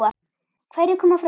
Hverjir koma fram?